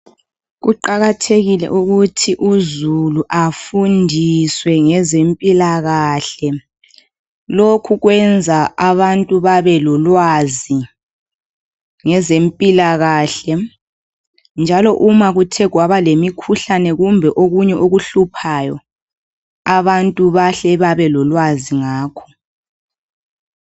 Kuqakathekile ukuthi uzulu afundiswe ngezempilakahle, lokhu kwenza abantu babe lolwazi ngezempilakahke njalo uma kuthe kwaba lemikhuhlane kumbe okunye okuhluphayo abantu bahle babe lolwazi ngakho.